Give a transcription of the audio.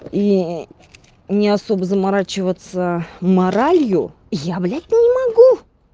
и не особо заморачиваться моралью я блять не могу